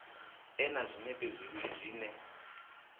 ḓe na zwinepe zwivhili zwine